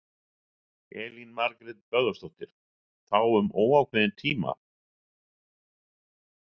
Elín Margrét Böðvarsdóttir: Þá um óákveðinn tíma?